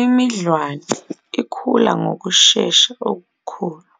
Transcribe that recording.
Imidlwane ikhula ngokushesha okukhulu